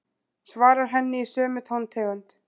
Svarar henni í sömu tóntegund.